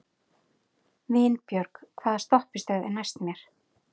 Vinbjörg, hvaða stoppistöð er næst mér?